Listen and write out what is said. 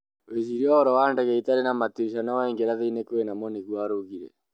Wecirie ũhoro wa ndege ĩtarĩ na matirisha no waingĩra thĩinĩ kwĩnamo", nĩgũo araugire